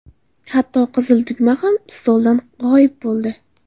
Hatto qizil tugma ham stoldan g‘oyib bo‘ldi.